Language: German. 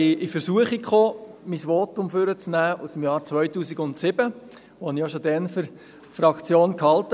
Ich kam in Versuchung, mein Votum aus dem Jahr 2007 hervorzuholen, welches ich damals für die Fraktion hielt.